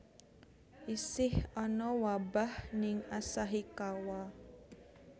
Isih ana wabah ning Asahikawa